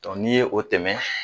ni ye o tɛmɛn